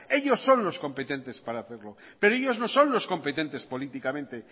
ellos son los competentes para hacerlo pero ellos no son los competentes políticamente